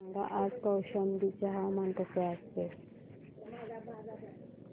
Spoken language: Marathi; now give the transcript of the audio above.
सांगा आज कौशंबी चे हवामान कसे आहे